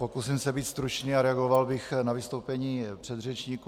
Pokusím se být stručný a reagoval bych na vystoupení předřečníků.